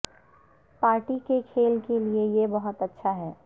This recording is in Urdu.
پارٹی کے کھیل کے لئے یہ بہت اچھا ہے